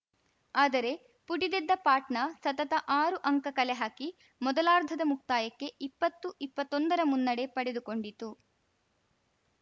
ಆದರೆ ಪುಟಿದೆದ್ದ ಪಾಟ್ನಾ ಸತತ ಆರು ಅಂಕ ಕಲೆಹಾಕಿ ಮೊದಲಾರ್ಧದ ಮುಕ್ತಾಯಕ್ಕೆ ಇಪ್ಪತ್ತುಇಪ್ಪತ್ತೊಂದರ ಮುನ್ನಡೆ ಪಡೆದುಕೊಂಡಿತು